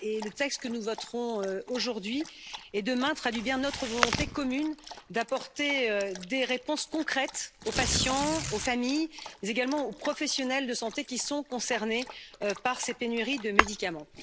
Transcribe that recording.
Le texte que nous voterons aujourd'hui et demain traduit bien notre volonté commune d'apporter des réponses concrètes aux patients, aux familles, mais également aux professionnels de santé qui sont concernés par ces pénuries de médicaments.